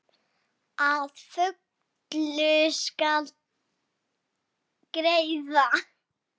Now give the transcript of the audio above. Að fullu skal greiða